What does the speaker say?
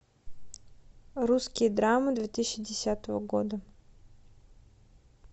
русские драмы две тысячи десятого года